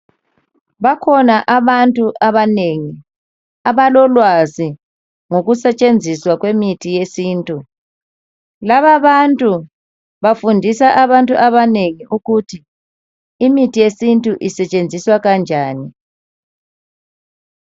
bakhona abantu abanengi abololwazi ngokusetshenziswa kwemithi yesintu lababantu bafundisa abanu abanengi ukuthi imithi yesintu isetshenziswa kanjani